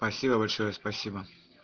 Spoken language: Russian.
спасибо большое спасибо